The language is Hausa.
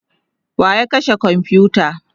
wa ya kashe komfuta?